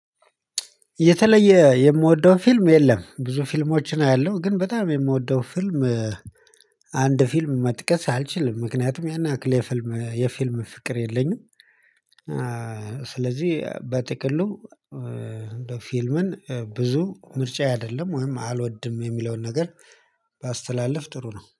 የተለየ የምወደው ፊልም የለም ብዙ ፊልሞችን አያለሁ ግን በጣም የምወደው ፊልም ፊልም መጥቀስ አልችልም ምክንያቱም ያን ያክል የፊልም የፊልም ፍቅር የለኝም። በጥቅሉ ፊልምን ብዙ ምርጫዬ አይደለም ወይም አልወድም የሚለውን ነገር ባስተላልፍ ጥሩ ነው